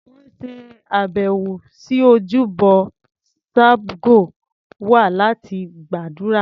Wọn ṣe àbẹ̀wò sí ojúbọ Sabgo wa láti gbàdúrà.